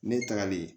Ne tagalen